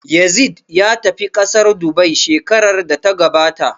Yazid ya tafi ƙasar Dubai shekarar da ta gabata